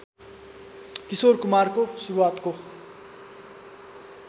किशोर कुमारको सुरुवातको